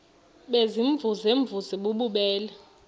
baziimvuze mvuze bububele